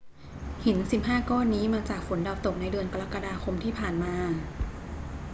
หิน 15 ก้อนนี้มาจากฝนดาวตกในเดือนกรกฎาคมที่ผ่านมา